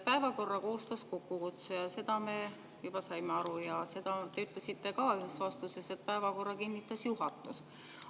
Päevakorra koostas kokkukutsuja, sellest me saime juba aru, ja seda te ütlesite ka ühes vastuses, et päevakorra kinnitas juhatus.